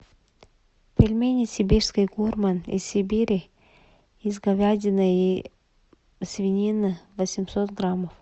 пельмени сибирский гурман из сибири из говядины и свинины восемьсот граммов